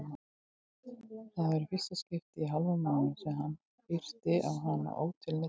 Það var í fyrsta skipti í hálfan mánuð sem hann hafði yrt á hana ótilneyddur.